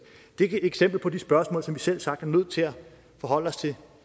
det er et eksempel på de spørgsmål som vi selvsagt er nødt til at forholde os til